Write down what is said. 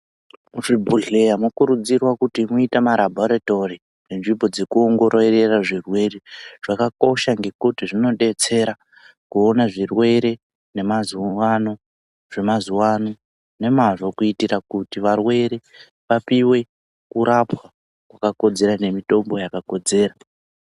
Zvi bhodhleya mo kurudzirwa kuti muite ma rabhoritori nzvimbo dzoku ongororera zvirwere zvaka kosha ngekuti zvino detsera kuona zvirwere ne mazuva ano zve mazuva ano nemazvo kuitira kuti varwere vapiwe kurapwa kwaka kodzera ne mitombo yaka kodzera.